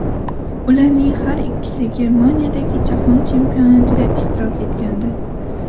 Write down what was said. Ularning har ikkisi Germaniyadagi Jahon Chempionatida ishtirok etgandi.